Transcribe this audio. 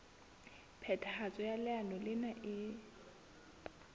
phethahatso ya leano lena e